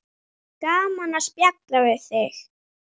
Gaman að spjalla við þig.